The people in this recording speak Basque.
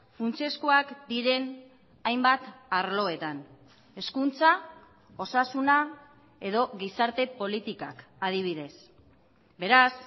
funtsezkoak diren hainbat arloetan hezkuntza osasuna edo gizarte politikak adibidez beraz